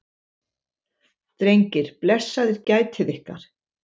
Drengir, blessaðir gætið ykkar.